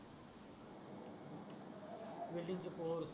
welding चे post